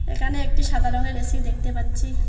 এখানে একটি সাদা রঙের এ_সি দেখতে পাচ্ছি।